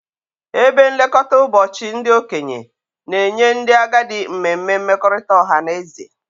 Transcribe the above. Ebe nlekọta ụbọchị ndị okenye na-enye ndị agadi mmemme mmekọrịta ọha na eze